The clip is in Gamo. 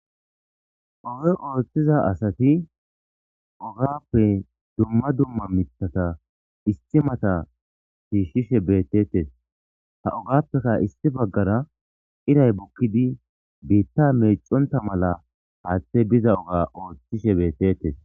Oge ooththiza asati ogappe dumma dumma mitata isti mata siishshishe beettetes ha ogappeka isti baggara iray bukkidi biitta meeconta mala haaththe biza oga ooththishe beettettes.